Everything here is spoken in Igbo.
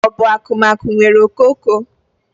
Ọ bụ akụmakụ nwere okooko?